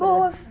Boas.